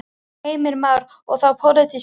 Heimir Már: Og þá pólitíska?